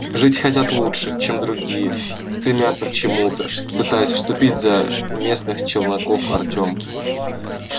жить хотят лучше чем другие стремятся к чему-то пытаясь вступить за местных челноков артём